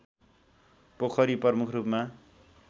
पोखरी प्रमुख रूपमा